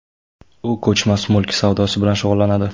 U ko‘chmas mulk savdosi bilan shug‘ullanadi.